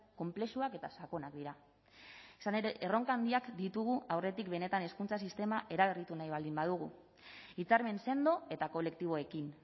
konplexuak eta sakonak dira izan ere erronka handiak ditugu aurretik benetan hezkuntza sistema eraberritu nahi baldin badugu hitzarmen sendo eta kolektiboekin